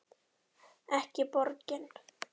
Ekki borgin.